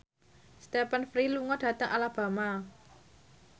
Stephen Fry lunga dhateng Alabama